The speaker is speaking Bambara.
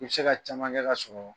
I bɛ tɛ se ka caman kɛ k'a sɔrɔ